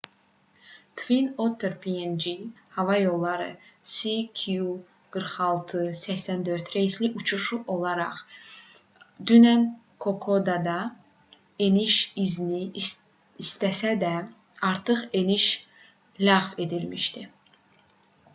twin otter png hava yollarının cg4684 reysli uçuşu olaraq dünən kokodada eniş izni istəsə də artıq eniş ləğv edilmişdi